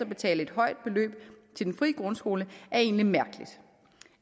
betale et højt beløb til den fri grundskole er egentlig mærkeligt